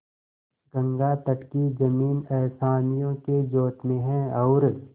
गंगातट की जमीन असामियों के जोत में है और